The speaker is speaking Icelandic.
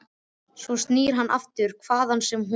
En svo snýr hún aftur, hvaðan sem hún var.